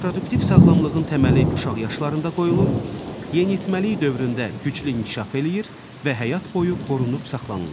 Reproduktiv sağlamlığın təməli uşaq yaşlarında qoyulur, yeniyetməlik dövründə güclü inkişaf eləyir və həyat boyu qorunub saxlanılır.